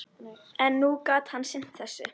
En nú gat hann sinnt þessu.